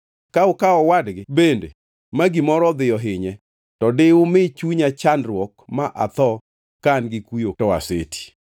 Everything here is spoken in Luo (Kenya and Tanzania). Ka ukawo owadgi bende ma gimoro dhi ohinye, to di umi chunya chandruok ma atho ka an gi kuyo to aseti.’